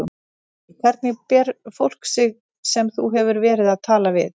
Haukur: Hvernig ber fólk sig sem þú hefur verið að tala við?